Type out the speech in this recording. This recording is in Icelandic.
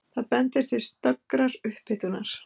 Það bendir til snöggrar upphitunar.